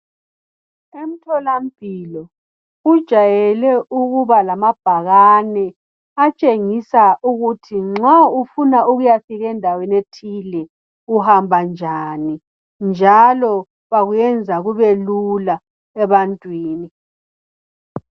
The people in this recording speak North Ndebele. Emtholampilo kujayele lamabhakani atshengisa ukuthi nxa ufuna ukuyafika endaweni ethile uhamba njani, njalo bakuyenza kubelula ebantwini.